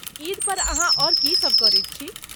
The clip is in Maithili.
ईद पर अहाँ आओर की सब करैत छी?